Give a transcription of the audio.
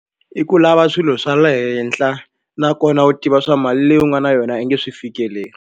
I ku lava swilo swa le henhla nakona u tiva swa mali leyi u nga na yona i nge swi fikeleli.